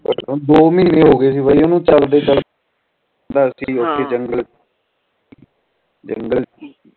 ਦੋ ਮਹੀਨੇ ਹੋ ਗਏ ਕਰਦੇ ਕਰਦੇ